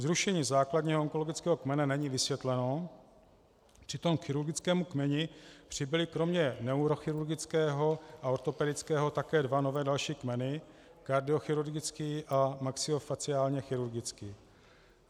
Zrušení základního onkologického kmene není vysvětleno, přitom k chirurgickému kmeni přibyly kromě neurochirurgického a ortopedického také dva nové další kmeny, kardiochirurgický a maxilofaciálně chirurgický.